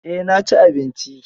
Eh, na ci abinci.